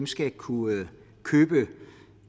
skal kunne købe